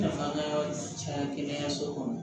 Nafa caya kɛnɛyaso kɔnɔ